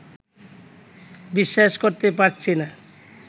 বিশ্বাস করতে পারছি না